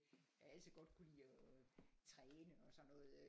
Jeg har altid godt kunne lide og træne og sådan noget